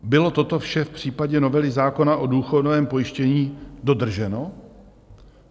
Bylo toto vše v případě novely zákona o důchodovém pojištění dodrženo?